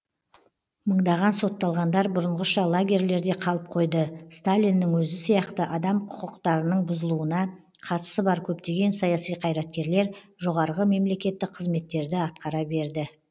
мыңдаған сотталғандар бұрынғыша лагерьлерде қалып қойды сталиннің өзі сияқты адам қүкықтарының бұзылуына қатысы бар көптеген саяси қайраткерлер жоғарғы мемлекеттік қызметтерді атқара берді